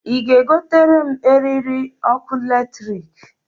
I ga e gotere m eriri ọkụ latrikǃ